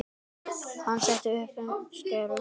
Hann setti upp skeifu.